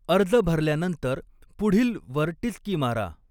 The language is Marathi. अर्ज भरल्यानंतर 'पुढील' वर टिचकी मारा.